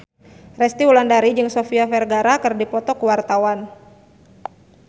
Resty Wulandari jeung Sofia Vergara keur dipoto ku wartawan